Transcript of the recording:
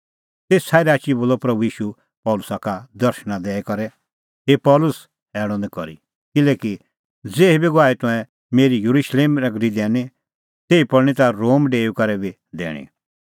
तेसा ई राची बोलअ प्रभू ईशू पल़सी का दर्शण दैई करै हे पल़सी हैल़अ निं करी किल्हैकि ज़ेही गवाही तंऐं मेरी येरुशलेम नगरी दैनी तेही पल़णीं ता रोम डेऊई करै बी दैणीं